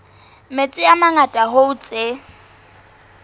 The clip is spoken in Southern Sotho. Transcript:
metsi a mangata hoo tse